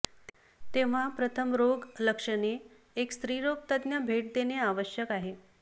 तेव्हा प्रथम रोग लक्षणे एक स्त्री रोग तज्ज्ञ भेट देणे आवश्यक आहे